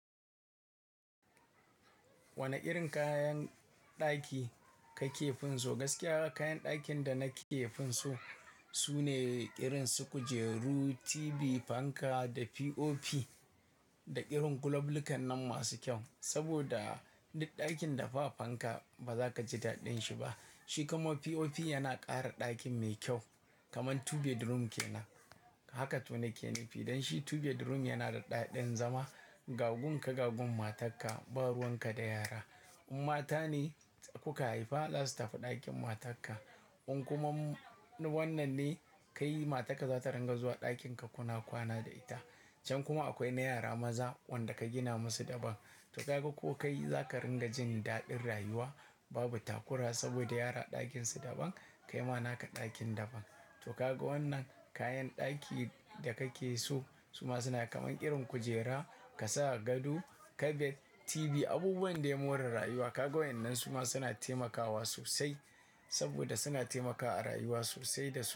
Wane irin kayan ɗaki kake finsu? Gaskiya kayan ɗakin da nake finsu sune irin su kujeru, TV, fanka da POP da irin guloblukan nan masu kyau. Saboda duk ɗakin da ba fanka, ba za ka ji daɗin shi ba. Shi kuma POP yana ƙara ɗakin mai kyau kaman two bedroom ke nan. Haka tuni ke nufi. Idanshi two bedroom yana da daɗin zama. Gagun ka, gagun matarka, baruwan ka da yara. In mata ne kuka haifa, zasu tafi ɗakin matarka. In kumamu wannan ne, kai matarka za ta rinƙa zuwa ɗakin ka kuna kwana da ita. Can kuma akwai na yara maza wanda ka gina masu daban. To ka ga ko kai za ka ringa jin daɗin rayuwa babu takura saboda yara ɗakin su daban, kai ma naka ɗakin daban. To ka ga wannan kayan ɗaki da kake so su ma suna kaman irin kujera, ka sa gado, kabet, TV, abubuwan dai more rayuwa. Ka ga waɗannan su ma suna taimakawa sosai saboda suna taimakawa a rayuwa sosai da su.